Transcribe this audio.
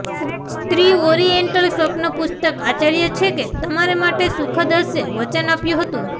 સ્ત્રી ઓરિએન્ટલ સ્વપ્ન પુસ્તક આશ્ચર્ય છે કે તમારે માટે સુખદ હશે વચન આપ્યું હતું